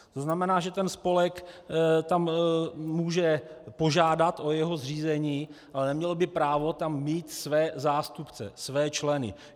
To znamená, že ten spolek tam může požádat o jeho zřízení, ale neměl by právo tam mít své zástupce, své členy.